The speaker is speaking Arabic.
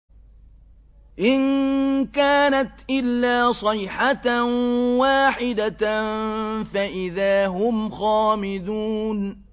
إِن كَانَتْ إِلَّا صَيْحَةً وَاحِدَةً فَإِذَا هُمْ خَامِدُونَ